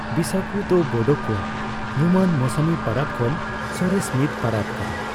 ᱵᱤᱥᱟᱜᱩ ᱫᱚ ᱵᱳᱰᱳ ᱠᱚᱣᱟᱜ ᱧᱩᱢᱟᱱ ᱢᱚᱥᱚᱢᱤ ᱯᱟᱨᱟᱵᱽ ᱠᱷᱚᱱ ᱥᱚᱨᱮᱥ ᱢᱤᱫ ᱯᱟᱨᱟᱵᱽ ᱠᱟᱱᱟ ᱾